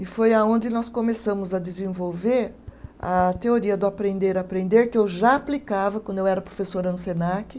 E foi aonde nós começamos a desenvolver a teoria do aprender-aprender, que eu já aplicava quando eu era professora no Senac.